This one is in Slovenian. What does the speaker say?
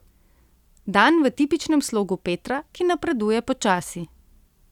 Dan v tipičnem slogu Petra, ki napreduje počasi.